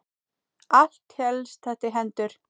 Allt helst þetta í hendur.